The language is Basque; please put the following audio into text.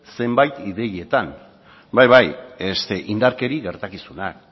zeinbait ideietan bai bai indarkeria gertakizunak